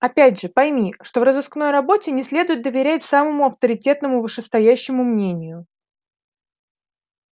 опять же пойми что в розыскной работе не следует доверять самому авторитетному вышестоящему мнению